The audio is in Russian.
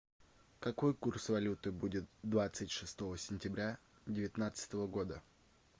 какой курс валюты будет двадцать шестого сентября девятнадцатого года